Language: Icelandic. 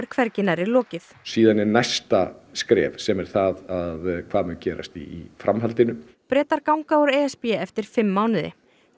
hvergi nærri lokið síðan er næsta skref sem er það hvað mun gerast í framhaldinu Bretar ganga úr e s b eftir fimm mánuði